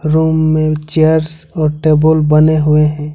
Room में chairs और table बने हुए हैं।